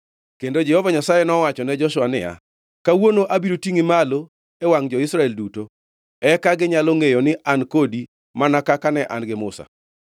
Kendo Jehova Nyasaye nowachone Joshua niya, “Kawuono abiro tingʼi malo e wangʼ jo-Israel duto, eka ginyalo ngʼeyo ni An kodi mana kaka ne an gi Musa.